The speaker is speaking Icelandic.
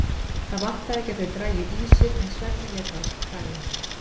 Það vantaði ekki að þau drægju ýsur en svefninn lét ekki á sér kræla.